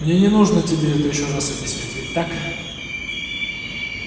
мне не нужно тебе это ещё раз объяснять ведь так